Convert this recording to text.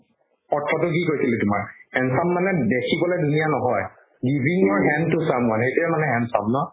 অৰ্থটো কি কৈছিলে তোমাৰ handsome মানে দেখিবলৈ ধুনীয়া নহয় বিভিন্ন hand তো চাম মানে সেইটোয়ে মানে handsome ন